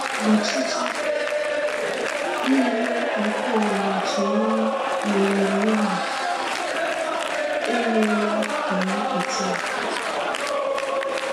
Ọchịchị niile nke ụwa nọchiri anya n’onyinyo ahụ emeela ka ha pụta ìhè.